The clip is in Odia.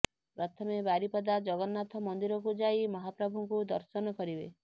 ପ୍ରଥମେ ବାରିପଦା ଜଗନ୍ନାଥ ମନ୍ଦିରକୁ ଯାଇ ମହାପ୍ରଭୁଙ୍କୁ ଦର୍ଶନ କରିବେ